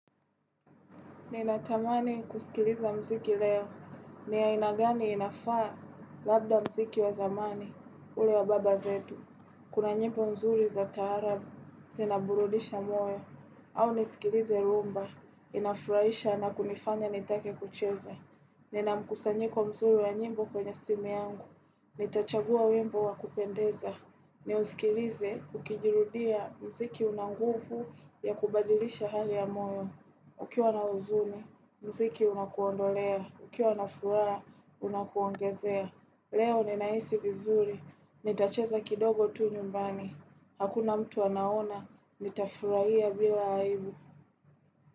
Ninatamani kusikiliza mziki leo, ni ya aina gani inafaa labda mziki wa zamani, ule wa baba zetu. Kuna nyimbo mzuri za taarabu, zinaburudisha moyo, au nisikilize rhumba, inafurahisha na kunifanya nitake kucheza. Ninamkusanyiko mzuri wa nyimbo kwenye simu yangu, nitachagua wimbo wa kupendeza. Ni usikilize, ukijirudia mziki una nguvu ya kubadilisha hali ya moyo. Ukiwa na huzuni, mziki unakuondolea. Ukiwa na furaha, unakuongezea. Leo ninahisi vizuri. Nitacheza kidogo tu nyumbani. Hakuna mtu anaona, nitafurahia bila aibu.